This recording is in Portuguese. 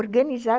Organizada